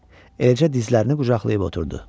Eləcə dizlərini qucaqlayıb oturdu.